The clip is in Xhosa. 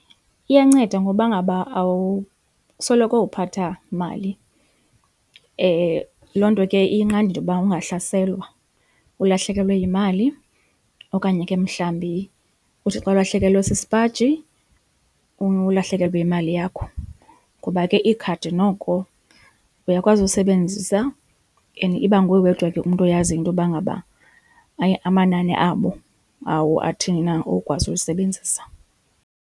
Iyanceda ngoba ngaba awusoloko uphatha mali. Loo nto ke iyinqanda into yoba ungahlaselwa ulahlekelwe yimali okanye ke mhlawumbi uthi xa ulahlekelwe sisipaji ulahlekelwe yimali yakho. Kuba ke ikhadi noko uyakwazi usebenzisa and iba nguwe wedwa ke umntu oyaziyo intoba ngaba amanani abo, awo athini na okwazi ulisebenzisa.